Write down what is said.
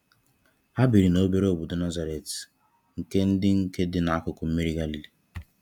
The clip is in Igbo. Ha biri n'obere obodo Nazareth, nke di nke di n'akụkụ mmiri Galilee.